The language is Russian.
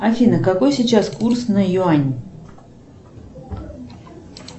афина какой сейчас курс на юань